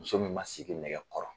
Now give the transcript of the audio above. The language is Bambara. Muso min ma sigi nɛgɛ kɔrɔ